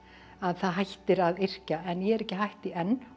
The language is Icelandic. að það hættir að yrkja en ég er ekki hætt því enn og